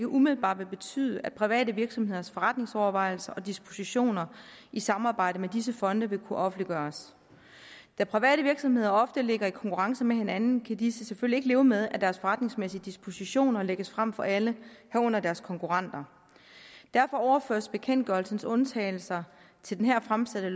umiddelbart vil betyde at private virksomheders forretningsovervejelser og dispositioner i samarbejde med disse fonde vil kunne offentliggøres da private virksomheder ofte ligger i konkurrence med hinanden kan disse selvfølgelig ikke leve med at deres forretningsmæssige dispositioner lægges frem for alle herunder deres konkurrenter derfor overføres bekendtgørelsens undtagelser til det her fremsatte